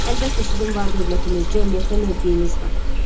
Əlbəttə, sizin var-dövlətiniz, cəmiyyətdə mövqeyiniz var.